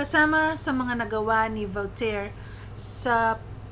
kasama sa mga nagawa ni vautier sa